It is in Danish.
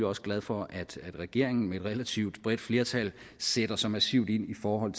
også glad for at regeringen med et relativt bredt flertal sætter så massivt ind i forhold